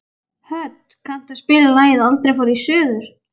Hödd, kanntu að spila lagið „Aldrei fór ég suður“?